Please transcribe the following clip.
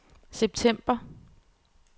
september